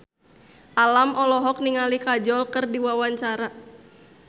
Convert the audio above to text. Alam olohok ningali Kajol keur diwawancara